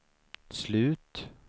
slut